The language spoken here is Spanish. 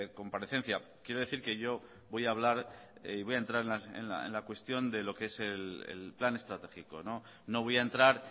comparecencia quiero decir que yo voy a hablar y voy a entrar en la cuestión de lo que es el plan estratégico no voy a entrar